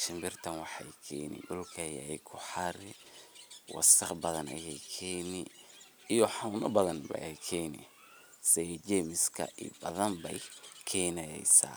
shimbirtan waxay keni dhulka ayey kuxari, wasaq badan ayey keni iyo xanun badan ayey keni sidha jemiska ayey keneysa.